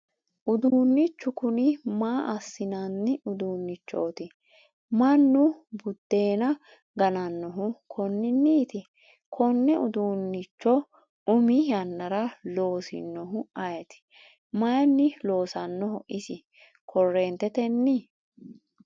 uduunnichu kuni maa assinanni uduunnichooti? mannu buddeena ganannohu konninniiti? konne uduunnicho umi yannara loosinohu ayeeti? mayiinni loosannoho isi korreentetenni ?